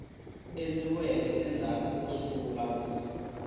endliweke endzhaku ko sungula ku